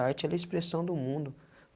A arte ela é a expressão do mundo.